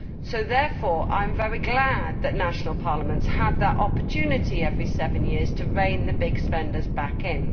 So I am very glad that national parliaments have that opportunity every seven years to rein the big spenders back in.